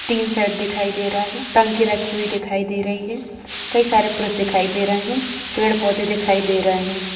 तीन सेड दिखाई दे रा है टंकी रखी हुई दिखाई दे रही है कई सारे पुरु दिखाई दे रहे हैं पेड़-पौधे दिखाई दे रहे हैं।